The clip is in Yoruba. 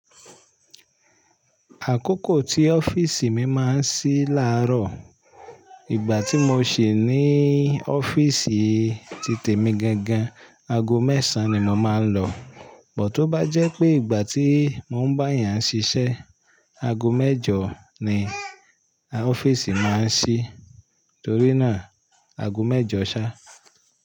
Àkókò tí ọ́fíìsì mi máa ń ṣí láàárọ̀, ìgbà tí mo ṣì ní ọ́fíìsì titẹ̀ mi gangan, aago mẹ́sàn-án ni mo máa ń lọ. Bò tó bá jẹ́ pé ìgbà tí mo ń bá èèyàn ṣiṣẹ́, aago mẹ́jọ ni ọ́fíìsì máa ń ṣí. Torí náà, aago mẹ́jọ ṣá.